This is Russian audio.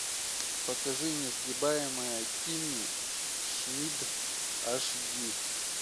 покажи несгибаемая кимми шмидт аш ди